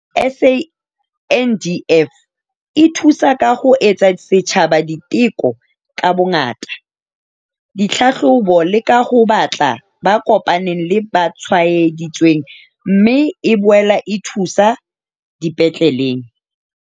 SANDF e thusa ka ho etsa setjhaba diteko ka bongata, ditlhahlobo le ka ho batla ba kopaneng le ba tshwaedi tsweng, mme e boela e thuso dipetleleng.